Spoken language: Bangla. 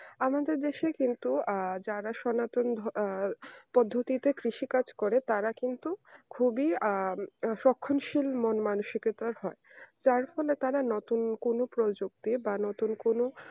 আমাদের দেশে কিন্তু যারা সনাতন আহ পদ্ধতিতে কৃষি কাজ করে তারা কিন্তু খুবই আহ সক্ষমশীল মানসিকতার হয় তার ফলে তারা নতুন কোন প্রযুক্তি বা নতুন কোন